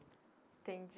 Entendi.